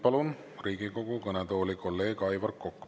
Palun Riigikogu kõnetooli kolleeg Aivar Koka.